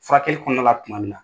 Furakɛli kɔnɔna la tuma min na.